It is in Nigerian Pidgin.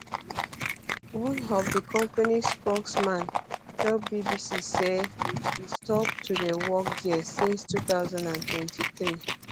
one of di company spokesman tell bbc say e stop to dey work dia since 2023 um